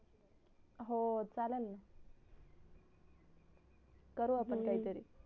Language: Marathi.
हो चालल ना करू आपण काही तरी